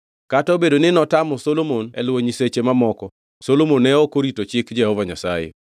Kata obedo ni notamo Solomon e luwo nyiseche mamoko Solomon ne ok orito chik Jehova Nyasaye.